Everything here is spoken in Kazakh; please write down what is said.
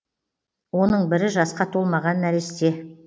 оның бірі жасқа толмаған нәресте